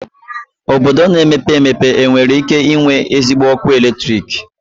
Obodo na-emepe emepe nwere ike inwe ezigbo ọkụ eletrik?